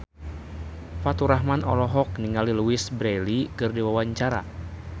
Faturrahman olohok ningali Louise Brealey keur diwawancara